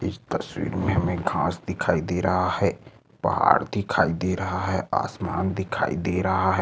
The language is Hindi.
इस तस्वीर में हमे घास दिखाई दे रहा है पहाड़ दिखाई दे रहा है आसमान दिखाई दे रहा है।